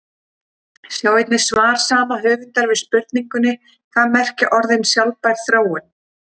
Sjá einnig svar sama höfundar við spurningunni Hvað merkja orðin sjálfbær þróun?